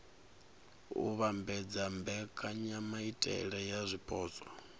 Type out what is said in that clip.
u vhambedza mbekanyamaitele ya zwipotso